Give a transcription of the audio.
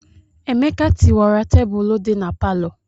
Emeka tiwara tebụlụ dị na palọ.